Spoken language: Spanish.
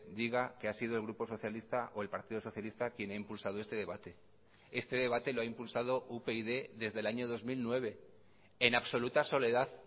diga que ha sido el grupo socialista o el partido socialista quien ha impulsado este debate este debate lo ha impulsado upyd desde el año dos mil nueve en absoluta soledad